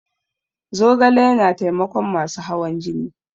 Zogale yana taimakon masu hawan jini.